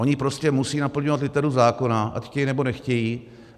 Oni prostě musejí naplňovat literu zákona, ať chtějí, nebo nechtějí.